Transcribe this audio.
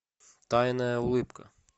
тайная улыбка